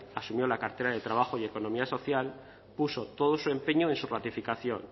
asumió la cartera en el trabajo y economía social puso todo su empeño en su ratificación